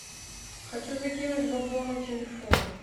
хочу закинуть бабло на телефон